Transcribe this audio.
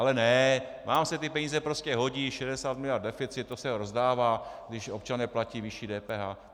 Ale ne, vám se ty peníze prostě hodí, 60 miliard deficit, to se rozdává, když občané platí vyšší DPH.